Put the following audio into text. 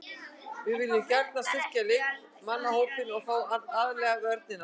Við viljum gjarnan styrkja leikmannahópinn og þá aðallega vörnina.